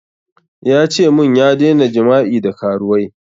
Ya ce mun ya daina jima'i da karuwai